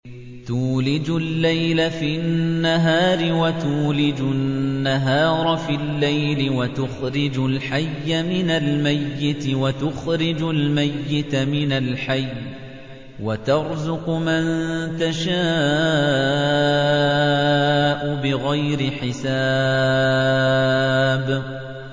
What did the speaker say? تُولِجُ اللَّيْلَ فِي النَّهَارِ وَتُولِجُ النَّهَارَ فِي اللَّيْلِ ۖ وَتُخْرِجُ الْحَيَّ مِنَ الْمَيِّتِ وَتُخْرِجُ الْمَيِّتَ مِنَ الْحَيِّ ۖ وَتَرْزُقُ مَن تَشَاءُ بِغَيْرِ حِسَابٍ